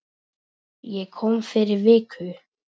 Ég kom fyrir viku